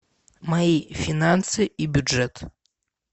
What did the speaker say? мои финансы и бюджет